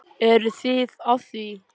Eruð þið að því?